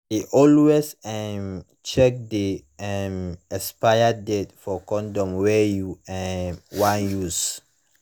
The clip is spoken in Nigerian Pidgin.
de always um check the um expire date for condom wey u um wan use